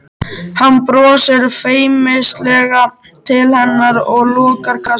Hann brosir feimnislega til hennar og lokar kassanum.